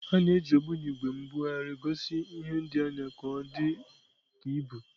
A na-eji ogbunigwe mbugharị gosi ihe dị anya ka ọ dị ka ibu.